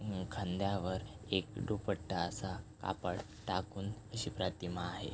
हम्म खांद्यावर एक दुपट्टा असा कापड टाकून अशी प्रतिमा आहे.